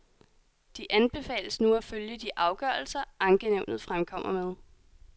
De anbefales nu at følge de afgørelser, ankenævnet fremkommer med.